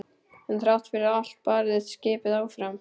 En þrátt fyrir allt barðist skipið áfram.